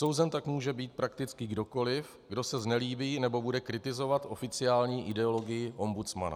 Souzen tak může být prakticky kdokoliv, kdo se znelíbí nebo bude kritizovat oficiální ideologii ombudsmana.